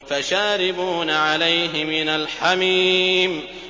فَشَارِبُونَ عَلَيْهِ مِنَ الْحَمِيمِ